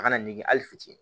A kana ngi a fitinin